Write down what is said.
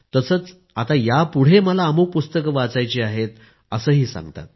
तसंच आता यापुढे मला अमूक पुस्तकं वाचायची आहेत असंही सांगतात